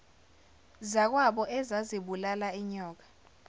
zakwabo ezazibulala inyoka